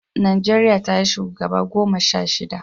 Najeriya ta yi shugaba guda goma sha shida